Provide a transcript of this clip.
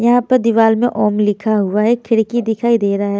यहाँ पर दिवाल में ओम लिखा हुआ है एक खिड़की दिखाई दे रहा है।